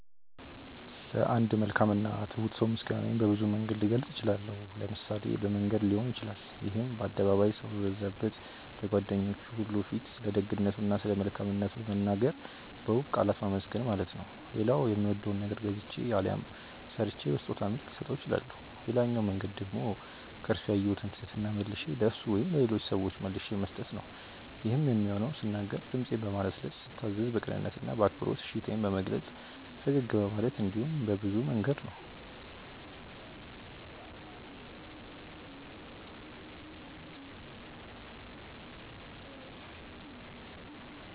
ለአንድ መልካም እና ትሁት ሰው ምስጋናዬን በብዙ መንገድ ልገልጽ እችላለሁ። ለምሳሌ በመንገር ሊሆን ይችላል ይሄም በአደባባይ፣ ሰው በበዛበት፣ በጓደኞቹ ሁሉ ፊት ስለደግነቱ እና ስለመልካምነቱ በመናገር በውብ ቃላት ማመስገን ማለት ነው። ሌላው የሚወደውን ነገር ገዝቼ አሊያም ሰርቼ በስጦታ መልክ ልሰጠው እችላለሁ። ሌላኛው መንገድ ደግሞ ከርሱ ያየሁትን ትህትና መልሼ ለርሱ ወይም ለሌሎች ሰዎች መልሼ መስጠት ነው። ይሄም የሚሆነው ስናገር ድምጼን በማለስለስ፤ ስታዘዝ በቅንነት እና በአክብሮት እሺታዬን በመግለጽ፤ ፈገግ በማለት እንዲሁም በብዙ መንገድ ነው።